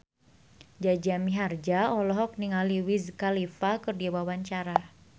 Jaja Mihardja olohok ningali Wiz Khalifa keur diwawancara